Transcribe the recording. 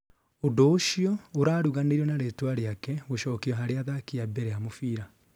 ũndũ ũcio ũraruganirio na ritwa rĩake gũcokio harĩ athaki a mbere a mũbira